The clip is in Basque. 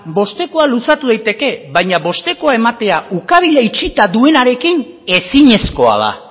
bostekoa luzatu daiteke baina bostekoa ematea ukabila itxita duenarekin ezinezkoa da